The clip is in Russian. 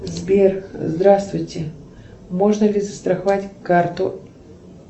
сбер здравствуйте можно ли застраховать карту